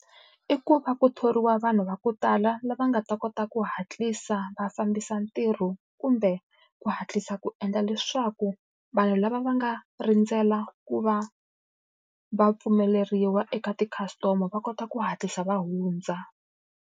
I ku va ku thoriwa vanhu va ku tala lava nga ta kota ku hatlisa va fambisa ntirho kumbe ku hatlisa ku endla leswaku vanhu lava va nga rindzela ku va va pfumeleriwa eka ti-customer va kota ku hatlisa va hundza.